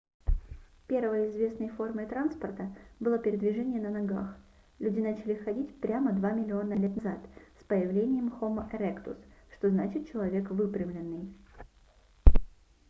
первой известной формой транспорта было передвижение на ногах люди начали ходить прямо два миллиона лет назад с появлением хомо эректус что значит человек выпрямленный